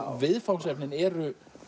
viðfangsefnin eru